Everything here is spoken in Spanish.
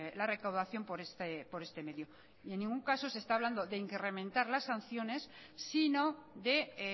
la recaudación por este medio y en ningún caso se está hablando de incrementar las sanciones sino de